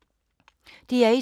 DR1